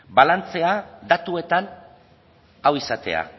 balantzea datuetan hau izatea